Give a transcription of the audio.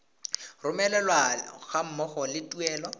romelwa ga mmogo le tuelo